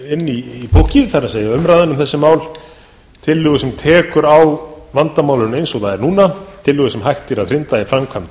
inn í púkkið það er umræðuna um þessi mál tillögu sem tekur á vandamálinu eins og það er núna tillögu sem hægt er að hrinda í framkvæmd